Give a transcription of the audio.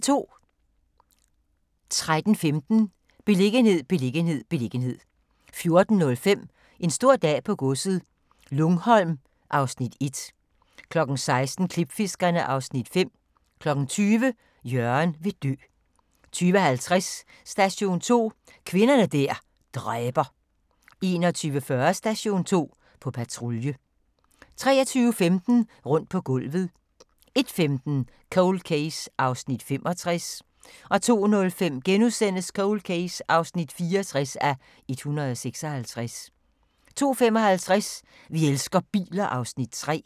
13:15: Beliggenhed, beliggenhed, beliggenhed 14:05: En stor dag på godset - Lungholm (Afs. 1) 16:00: Klipfiskerne (Afs. 5) 20:00: Jørgen vil dø 20:50: Station 2: Kvinder der dræber 21:40: Station 2: På patrulje 23:15: Rundt på gulvet 01:15: Cold Case (65:156) 02:05: Cold Case (64:156)* 02:55: Vi elsker biler (Afs. 3)